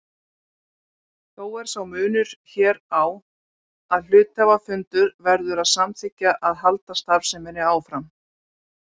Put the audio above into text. Þó er sá munur hér á að hluthafafundur verður að samþykkja að halda starfseminni áfram.